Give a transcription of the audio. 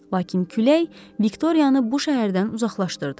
Lakin külək Viktoriyanı bu şəhərdən uzaqlaşdırdı.